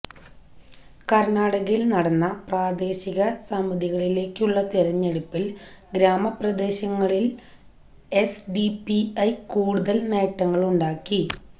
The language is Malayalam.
കര്ണ്ണാടകയില് നടന്ന പ്രാദേശിക സമിതികളിലേക്കുള്ള തിരഞ്ഞെടുപ്പില് ഗ്രാമപ്രദേശങ്ങളില് എസ്ഡിപിഐ കൂടുതല് നേട്ടങ്ങളുണ്ടാക്കി